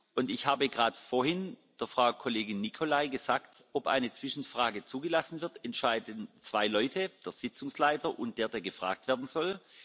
Und ich habe gerade vorhin Frau Kollegin Nicolai gesagt, ob eine Zwischenfrage zugelassen wird, entscheiden zwei Leute der Sitzungsleiter und derjenige, der gefragt werden soll.